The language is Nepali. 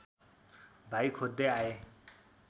भाइ खोज्दै आए